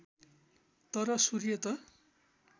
तर सूर्य त